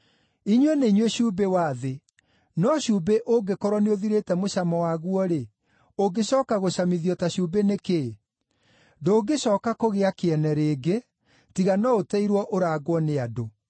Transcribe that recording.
“Inyuĩ nĩ inyuĩ cumbĩ wa thĩ. No cumbĩ ũngĩkorwo nĩũthirĩte mũcamo waguo-rĩ, ũngĩcooka gũcamithio ta cumbĩ nĩ kĩĩ? Ndũngĩcooka kũgĩa kĩene rĩngĩ, tiga no ũteirwo ũrangwo nĩ andũ.